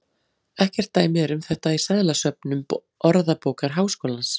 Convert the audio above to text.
Ekkert dæmi er um þetta í seðlasöfnum Orðabókar Háskólans.